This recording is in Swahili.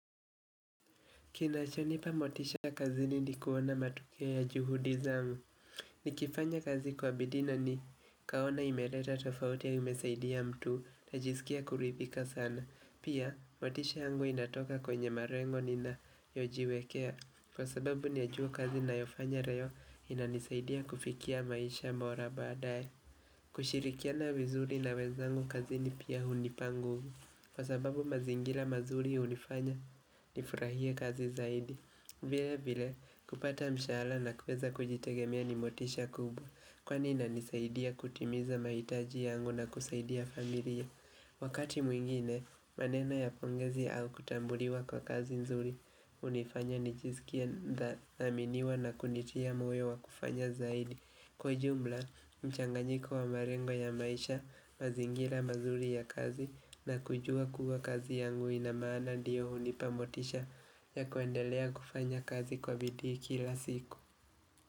Kinachonipa motisha kazini ni kuona matokeo ya juhudi zangu. Nikifanya kazi kwa bidii na nikaona imeleta tofauti au imesaidia mtu najisikia kuridhika sana. Pia, motisha yangu inatoka kwenye malengo ninayojiwekea. Kwa sababu najua kazi ninayofanya leo inanisaidia kufikia maisha bora baadaye. Kushirikiana vizuri na wenzangu kazini pia hunipa nguvu. Kwa sababu mazingira mazuri hunifanya nifurahie kazi zaidi vile vile kupata mshahara na kuweza kujitegemea ni motisha kubwa Kwani inanisaidia kutimiza mahitaji yangu na kusaidia familia Wakati mwingine maneno ya pongezi au kutambuliwa kwa kazi nzuri hunifanya nijisikie nathaminiwa na kunitia moyo wa kufanya zaidi Kwa jumla mchanganyiko wa malengo ya maisha mazingira mazuri ya kazi na kujua kuwa kazi yangu inamaana ndiyo hunipa motisha ya kuendelea kufanya kazi kwa bidii kila siku.